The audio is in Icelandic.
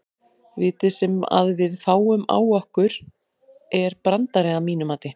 Vítið sem að við fáum á okkur er brandari að mínu mati.